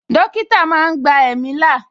Dókítà máa ń gba ẹ̀mí là